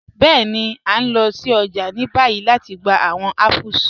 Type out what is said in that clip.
Bẹẹ̀ni, a n lọ sí ọjà ni báyì lati gbà awọn apples.